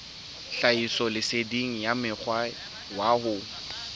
tlhahisoleseding ya mokgwa wa ho